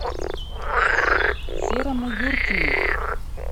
серому юркину